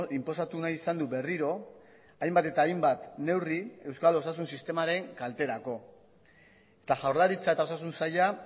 inposatu nahi izan du berriro hainbat eta hainbat neurri euskal osasun sistemaren kalterako eta jaurlaritza eta osasun saila